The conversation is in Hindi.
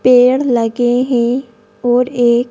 पेड़ लगे हैं और एक--